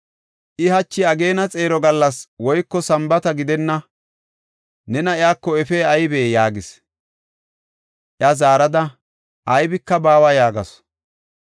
I, “Hachi ageena xeero gallas woyko Sambaata gidenna; nena iyako efey aybee?” yaagis. Iya zaarada, “Aybika baawa” yaagasu.